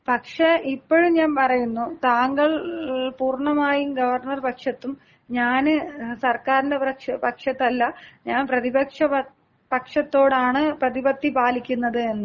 പക്ഷെ ഇപ്പോഴും ഞാൻ പറയുന്നു താങ്കൾ പൂർണ്ണമായും ഗവർണർ പക്ഷത്തും, ഞാൻ സർക്കാരിന്‍റെ പക്ഷത്തുമല്ല ഞാൻ പ്രതിപക്ഷ പക്ഷത്തോടാണ് പ്രതിപത്തി പാലിക്കുന്നതതെന്ന്.